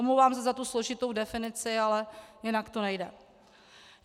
Omlouvám se za tu složitou definici, ale jinak to nejde.